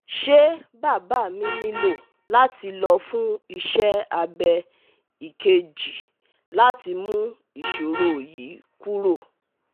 Se baba mi nilo lati lo fun ise abe ikeji lati mu isoro yi kuro